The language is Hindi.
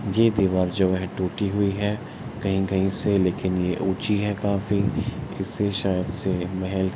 ये दिवार जो है टूटी हुई है कहीं-कहीं से लेकिन ये उची है काफी इससे शायद से महल --